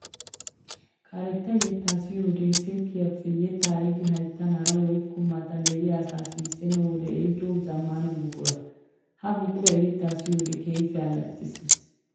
Karetta yetta siyiyoode silkkiyappe yetta ehiidi hayttan hara woykko matan de'iya asaa sissenna wode ehiido zamaana buqura. Ha buquran yetta siyiyoode keehippe alaxxisees.